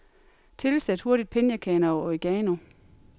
Tilsæt hurtigt pinjekerner og oregano.